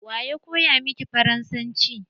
Waya koya miki faransanci?